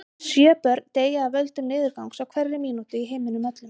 Sjö börn deyja af völdum niðurgangs á hverri mínútu í heiminum öllum.